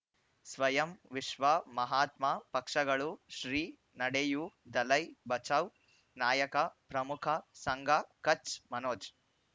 ಸ್ವಯಂ ವಿಶ್ವ ಮಹಾತ್ಮ ಪಕ್ಷಗಳು ಶ್ರೀ ನಡೆಯೂ ದಲೈ ಬಚೌ ನಾಯಕ ಪ್ರಮುಖ ಸಂಘ ಕಚ್ ಮನೋಜ್